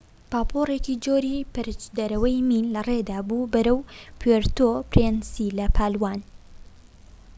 پاپۆرێکی جۆری پەرچدەرەوەی مین لەڕێدا بوو بەرەو پوێرتۆ پرینسی لە پالاوان